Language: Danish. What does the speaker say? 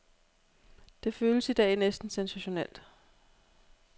Det føles i dag næsten sensationelt.